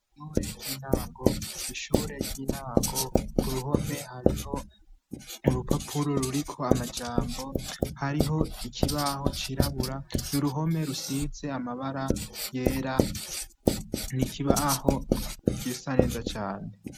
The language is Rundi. Ishure ry'intango, ishure ry'intango ku ruhome hariho urupapuro ruriko amajambo, hariho ikibaho cirabura n'uruhome rusize amabara yera, n'ikibaho gisa neza cane.